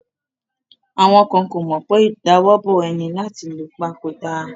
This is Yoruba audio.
Àwọn ko mọ wipe ìdawọ́bò ẹni láti lu pa ko da?